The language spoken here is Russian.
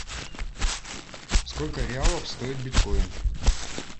сколько реалов стоит биткоин